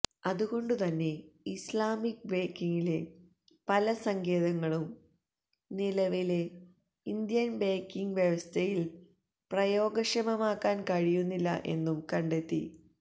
അതുകൊണ്ടുതന്നെ ഇസ്ലാമിക് ബേങ്കിംഗിലെ പല സങ്കേതങ്ങളും നിലവിലെ ഇന്ത്യന് ബേങ്കിംഗ് വ്യവസ്ഥയില് പ്രയോഗക്ഷമമാക്കാന് കഴിയുന്നില്ല എന്നും കണ്ടെത്തി